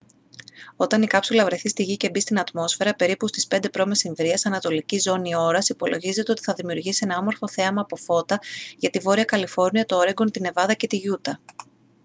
όταν η κάψουλα βρεθεί στη γη και μπει στην ατμόσφαιρα περίπου στις 5 π.μ. ανατολική ζώνη ώρας υπολογίζεται ότι θα δημιουργήσει ένα όμορφο θέαμα από φώτα για τη βόρεια καλιφόρνια το όρεγκον τη νεβάδα και τη γιούτα